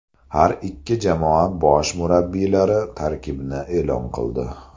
Har ikki jamoa bosh murabbiylari tarkibni e’lon qildi.